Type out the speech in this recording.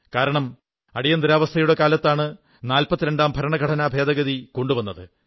കാരണം അടിയന്തരാവസ്ഥയുടെ കാലത്താണ് 42 ാം ഭരണഘടനാ ഭേദഗതി കൊണ്ടുവന്നത്